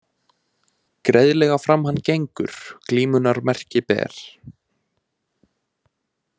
Greiðlega fram hann gengur glímunnar merki ber.